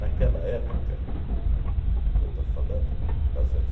época que eu estou falando, mil novecentos